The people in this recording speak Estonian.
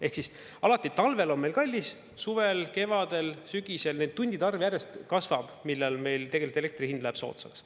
Ehk alati talvel on meil kallis, suvel, kevadel ja sügisel nende tundide arv järjest kasvab, millal meil elektri hind läheb soodsaks.